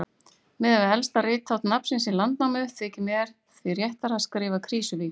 Miðað við elsta rithátt nafnsins í Landnámu þykir mér því réttara að skrifa Krýsuvík.